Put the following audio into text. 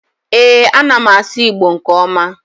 ee, a na m asu igbo nke oma